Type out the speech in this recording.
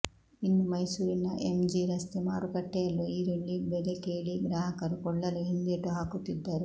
ಇನ್ನು ಮೈಸೂರಿನ ಎಂಜಿ ರಸ್ತೆ ಮಾರು ಕಟ್ಟೆಯಲ್ಲೂ ಈರುಳ್ಳಿ ಬೆಲೆ ಕೇಳಿ ಗ್ರಾಹಕರು ಕೊಳ್ಳಲು ಹಿಂದೇಟು ಹಾಕುತ್ತಿದ್ದರು